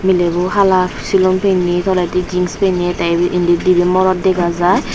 milebo hala silum pinne toledi jings te ibe indi dibe morot dega jar.